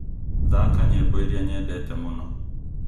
thaka nyĩmbo iria nyendete mũno